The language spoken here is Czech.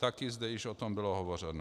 Taky zde již o tom bylo hovořeno.